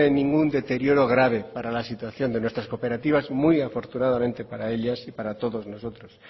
ningún deterioro grave para la situación de nuestras cooperativas muy afortunadamente para ellas y para todos nosotros